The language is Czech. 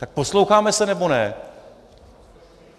Tak posloucháme se, nebo ne?